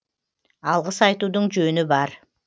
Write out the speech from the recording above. алғыс айтудың жөні бар